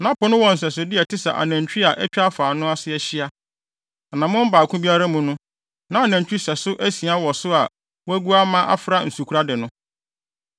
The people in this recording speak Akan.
Na Po no wɔ nsɛsode a ɛte sɛ anantwi a atwa afa ano no ase ahyia. Anammɔn baako biara mu no, na anantwi sɛso asia wɔ so a wɔagu ama afra nsukorade no.